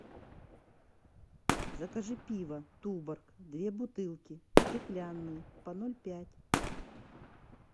закажи пиво туборг две бутылки стеклянные по ноль пять